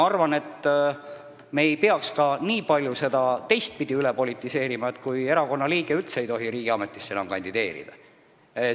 Aga me ei peaks seda teistpidi liiga palju üle politiseerima, et erakonnaliige ei tohi üldse riigiametisse kandideerida.